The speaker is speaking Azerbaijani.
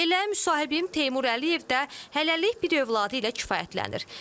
Elə müsahibim Teymur Əliyev də hələlik bir övladı ilə kifayətlənir.